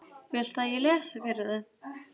Viltu að ég lesi fyrir þig?